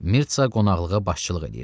Mirtsa qonaqlığa başçılıq eləyirdi.